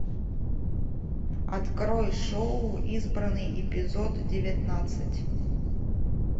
открой шоу избранный эпизод девятнадцать